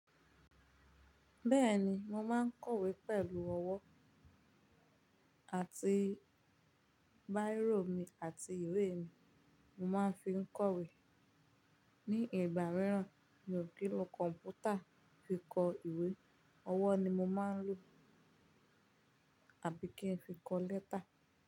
Bẹ́ẹ̀ni, mo máa ń kọ̀wé pẹ̀lú ọwọ́ àti Bíró mi àti ìwé mi. Mo máa ń fi ń kọ̀wé. Ni ìgbà mìíràn mi o kin lo kọ̀m̀pútà fi kọ ìwé. Ọwọ́ ni mo máa ń lò àbí kí n fi kọ lẹ́tà?